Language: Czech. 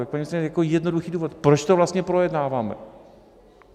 Tak paní ministryně, jako jednoduchý důvod - proč to vlastně projednáváme?